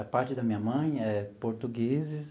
A parte da minha mãe é portugueses.